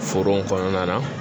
Foro kɔnɔna na